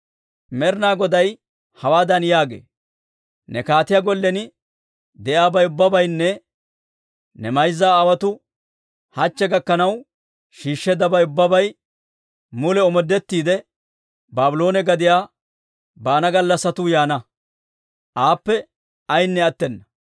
Med'inaa Goday hawaadan yaagee: ‹Ne kaatiyaa gollen de'iyaabay ubbabaynne ne mayza aawotuu hachche gakkanaw shiishsheeddabay ubbabay mule omoodettiide, Baabloone gadiyaa baana gallassatuu yaana; aappe ayaynne attena.